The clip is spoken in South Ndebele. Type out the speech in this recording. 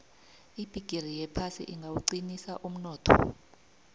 ibhigiri yephasi ingawuqinisa umnotho